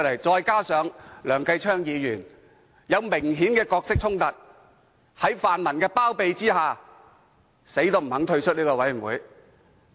再者，梁繼昌議員有明顯的角色衝突，卻在泛民包庇下堅拒退出這個委員會。